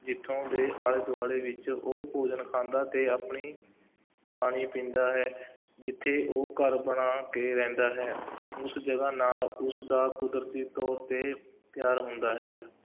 ਜਿੱਥੋਂ ਦੇ ਆਲੇ-ਦੁਆਲੇ ਵਿੱਚ ਉਹ ਭੋਜਨ ਖਾਂਦਾ ਅਤੇ ਆਪਣੀ ਪਾਣੀ ਪੀਂਦਾ ਹੈ ਜਿੱਥੇ ਉਹ ਘਰ ਬਣਾ ਕੇ ਰਹਿੰਦਾ ਹੈ, ਉਸ ਜਗ੍ਹਾ ਨਾਲ ਉਸਦਾ ਕੁਦਰਤੀ ਤੌਰ 'ਤੇ ਪਿਆਰ ਹੁੰਦਾ ਹੈ,